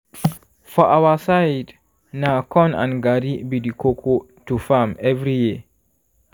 for our side na corn and garri be the koko to farm every year